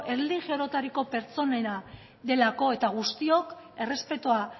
erlijio orotariko pertsonena delako eta guztiok errespetua